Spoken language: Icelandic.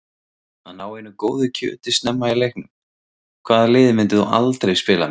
Að ná einu góðu kjöti snemma í leiknum Hvaða liði myndir þú aldrei spila með?